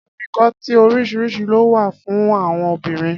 Afikọ́tí oríṣiríṣi ló wà fun àon obìnrin.